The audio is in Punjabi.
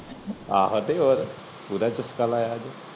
ਆਹੋ ਤੇ ਓਰ ਪੂਰਾ ਚਸਕਾ ਲਾਯਾ ਅੱਜ